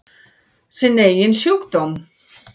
Sinn eigin sjúkdóm.